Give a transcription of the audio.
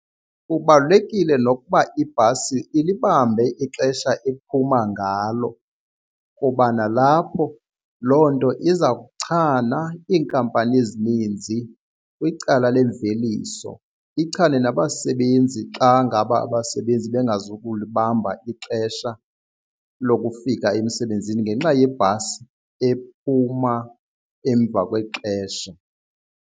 Kubalulekile nokuba ibhasi ilibambe ixesha ephuma ngalo kuba nalapho loo nto iza kuchana iinkampani zininzi kwicala lemveliso, ichane nabasebenzi xa ngaba abasebenzi bengazukulibamba ixesha lokufika emsebenzini ngenxa yebhasi ephuma emva kwexesha.